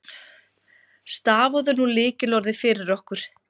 Stafaðu nú lykilorðið fyrir okkur.